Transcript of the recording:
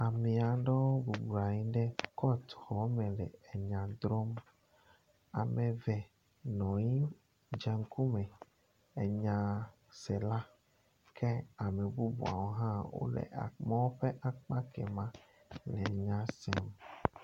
Amee aɖewo bɔblɔ nɔ anyi ɖe kɔti xɔme le enya drɔ̃m. Ame eve nɔ anyi dze ŋkume enyasela kea me bubuawo hã wole mɔ ƒe akpa kɛ ma le nya sem